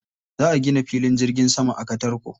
Za a gina filin jirgin sama a Katarko.